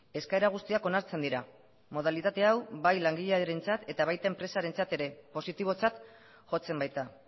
eskaera guztiak onartzen dira modalitate hau bai langilearentzat eta baita enpresarentzat ere positibotzat jotzen baita